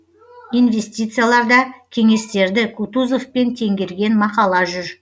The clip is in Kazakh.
инвестицияларда кеңестерді кутузовпен теңгерген мақала жүр